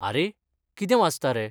आरे, कितें वाचता रे?